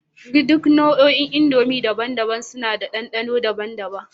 Duk nau'ikan indomie daban-daban suna da dandano daban-daban